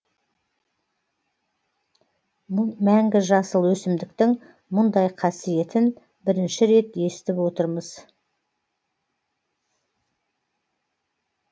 мәңгі жасыл өсімдіктің мұндай қасиетін бірінші рет естіп отырмыз